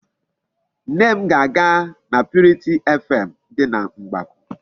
Nne m ga-aga na purity FM dị na Mgbakwụ.